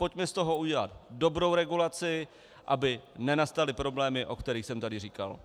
Pojďme z toho udělat dobrou regulaci, aby nenastaly problémy, o kterých jsem tady říkal.